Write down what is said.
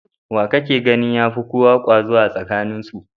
Wa kake ganin ya fi kowa kwazo a tsakaninsu?